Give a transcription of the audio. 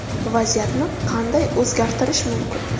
Vaziyatni qanday o‘zgartirish mumkin?